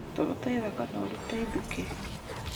Tũgũta ithaka na ũrute ithukĩ